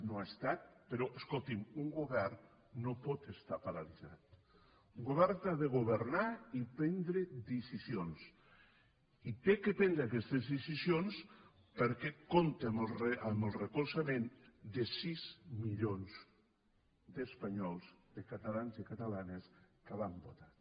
no ho ha estat però escolti’m un govern no pot estar paralitzat un govern ha de governar i prendre decisions i ha de prendre aquestes decisions perquè compta amb el recolzament de sis milions d’espanyols de catalans i catalanes que l’han votat